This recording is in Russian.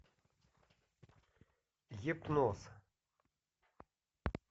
гипноз